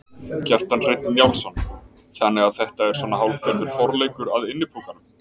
Kjartan Hreinn Njálsson: Þannig að þetta er svona hálfgerður forleikur að Innipúkanum?